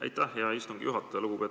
Aitäh, hea istungi juhataja!